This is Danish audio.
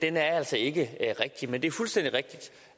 er altså ikke rigtig men det er fuldstændig rigtigt